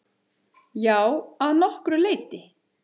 Já, að nokkru leyti.